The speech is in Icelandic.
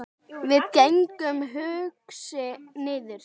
Við gengum hugsi niður